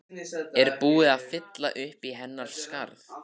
Er búið að fylla uppí hennar skarð?